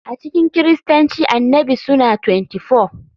A cikin Kiristanci Annabi suna 24.